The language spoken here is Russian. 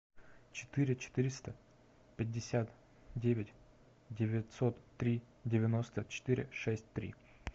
четыре четыреста пятьдесят девять девятьсот три девяносто четыре шесть три